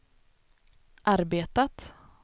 arbetat